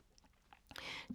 DR1